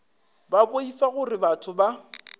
ba boifa gore batho ba